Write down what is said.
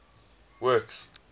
works